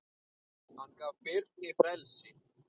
Hann gaf Birni frelsi.